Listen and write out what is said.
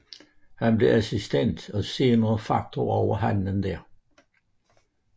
Han blev assistent og senere faktor over handelen der